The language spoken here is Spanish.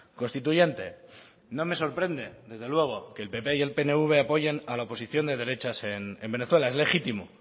constituyente no me sorprende desde luego que el pp y el pnv apoyen a la oposición de derechas en venezuela es legítimo